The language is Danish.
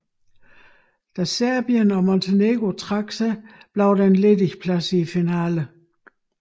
Da Serbien og Montenegro trak sig blev der en ledig plads i finalen